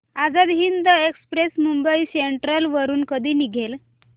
Azad Hind express Mumbai central वरून कधी निघेल